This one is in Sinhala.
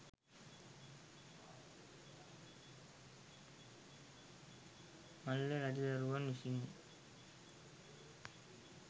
මල්ල රජදරුවන් විසින්